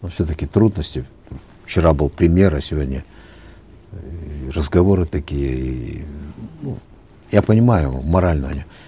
ну все таки трудности вчера был премьер а сегодня эээ разговоры такие иии ну я понимаю его морально у него